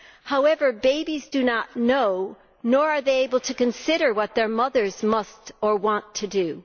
However, babies do not know, nor are they able to consider what their mothers must, or want to, do.